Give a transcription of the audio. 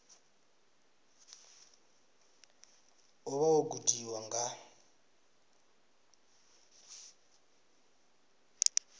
u vha wo gudiwa nga